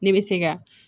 Ne bɛ se ka